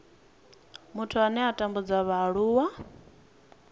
muthu ane a tambudza vhaaluwa